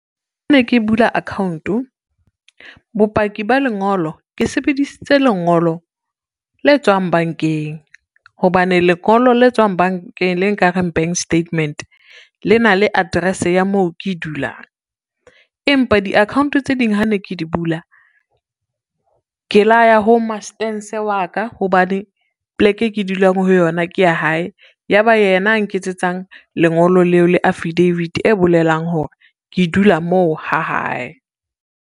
Ne ke bula account-o, bopaki ba lengolo ke sebedisitse lengolo le tswang bankeng, hobane lengolo le tswang bankeng le nkareng bank statement le na le address ya moo ke dulang. Empa di-account tse ding ha ne ke di bula, ke la ya ho mastense wa ka hobane pleke e ke dulang ho yona ke ya hae, ya ba yena a nketsetsang lengolo leo le affidavit, e bolelang hore ke dula moo ha hae.